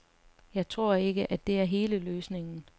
Jeg tror ikke, at det er hele løsningen.